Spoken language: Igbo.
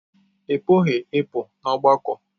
Ị pụghị ịpụ n'ọgbakọ.